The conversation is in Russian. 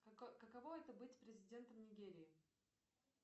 каково это быть президентом нигерии